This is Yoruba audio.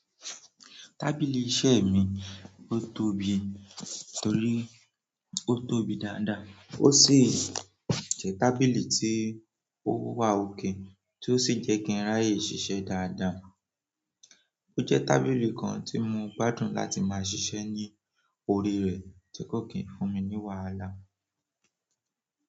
Tábìlì iṣẹ́ mi, ó tóbi torí ó tóbi dáadáa, ó sì jẹ́ tábìlì tí ó wà ókè tó sì jẹ́ kí n ráyè ṣiṣẹ́ dáadáa. Ó jẹ́ tábìlì kan tí mo gbádùn láti máa ṣiṣẹ́ ní orí rẹ̀ tí kò kí n fún mi ní wàhálà.